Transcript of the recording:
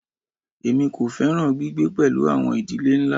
Èmi kò fẹ́ràn gbígbé pẹ̀lú àwọn ìdílé ńlá.